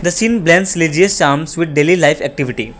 the scene blends leisure sums with daily life activity.